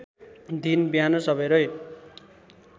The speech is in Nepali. दिन बिहान सबेरै